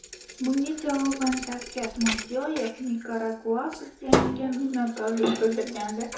Bunga javoban Shavkat Mirziyoyev Nikaragua prezidentiga minnatdorlik bildirgandi .